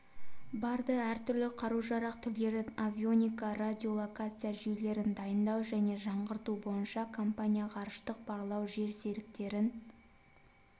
барды әртүрлі қару-жарақ түрлерін авионика радиолокация жүйелерін дайындау және жаңғырту бойынша компания ғарыштық барлау жерсеріктерін